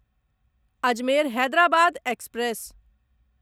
Ajmer Hyderabad express